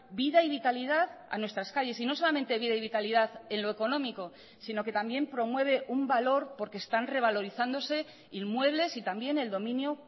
vida y vitalidad a nuestras calles y no solamente vida y vitalidad en lo económico sino que también promueve un valor porque están revalorizándose inmuebles y también el dominio